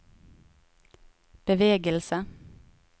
bevegelse